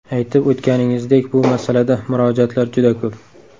Aytib o‘tganingizdek, bu masalada murojaatlar juda ko‘p.